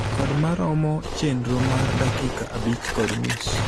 Kod maromo chendro mar dakika abich kod nus.